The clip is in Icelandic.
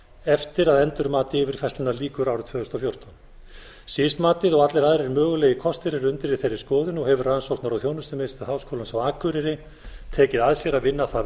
eftir að endurmati yfirfærslunnar lýkur árið tvö þúsund og fjórtán sis matið og allir aðrir mögulegir kostir eru undir í þeirri skoðun og hefur rannsóknar og þjónustumiðstöð háskólans á akureyri tekið að sér að vinna það